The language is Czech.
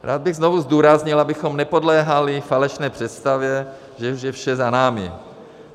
Rád bych znovu zdůraznil, abychom nepodléhali falešné představě, že už je vše za námi.